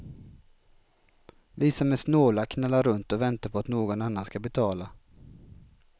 Vi som är snåla knallar runt och väntar på att någon annan skall betala.